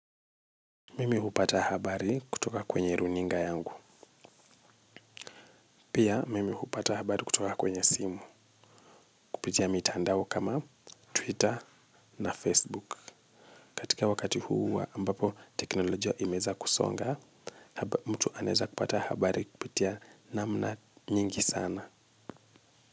Mimi hupata habari kutoka kwenye runinga yangu. Pia mimi hupata habari kutoka kwenye simu. Kupitia mitandao kama Twitter na Facebook. Katika wakati huu wa ambapo teknolojia imeweza kusonga, mtu anaweza kupata habari kupitia namna nyingi sana.